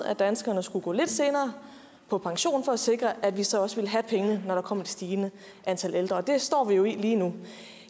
at danskerne skulle gå lidt senere på pension for at sikre at vi så også ville have pengene når der kom et stigende antal ældre og det står vi jo i lige nu